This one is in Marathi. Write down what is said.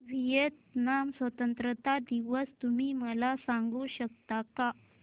व्हिएतनाम स्वतंत्रता दिवस तुम्ही मला सांगू शकता का